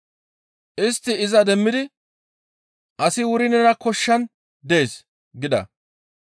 Istti iza demmidi, «Asi wuri nena koshshan dees» gida.